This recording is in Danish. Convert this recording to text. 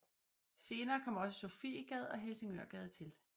Senere kom også Sofiegade og Helsingørgade til